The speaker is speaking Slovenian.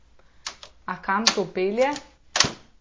A kam to pelje?